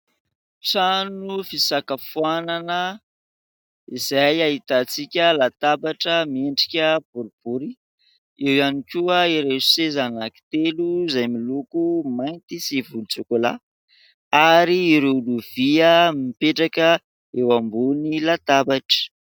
Trano fisakafoanana izay ahitantsika latabatra miendrika boribory. Eo ihany koa ireo seza anankitelo izay miloko mainty sy volontsokolà ary ireo lovia mipetraka eo ambony latabatra.